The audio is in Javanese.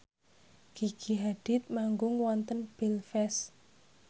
Gigi Hadid manggung wonten Belfast